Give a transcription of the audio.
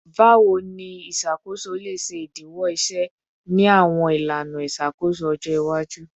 Bawo ni iṣakoso le ṣe idiwọ iṣẹ ni awọn ilana iṣakoso ọjọ iwaju?